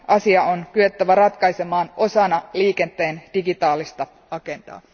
Asia on kyettävä ratkaisemaan osana liikenteen digitaalista agendaa.